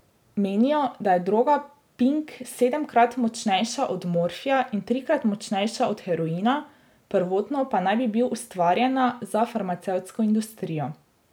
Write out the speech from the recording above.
Menijo, da je droga pink sedemkrat močnejša od morfija in trikrat močnejša od heroina, prvotno pa naj bi bil ustvarjena za farmacevtsko industrijo.